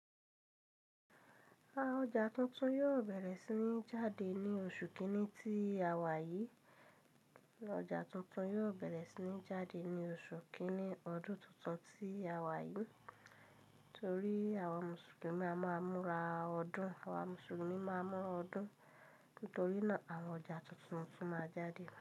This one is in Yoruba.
Àá ọjà tuntun yóò bẹ̀rẹ̀ sí ní jáde ní oṣù kìíní ti àwà yìí. Ọjà tuntun yóò bẹ̀rẹ̀ sí ní jáde ní oṣù kìíní ọdún tuntun tí a wà yìí. Nítorí àwọn Mùsùlùmí a máa múra ọdún. Àwọn Mùsùlùmí máa mún ọdún. Nítorí náà àwọn ọjà tuntun tuntun máa jáde.